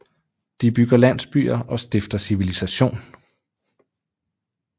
De bygger landsbyer og stifter civilisation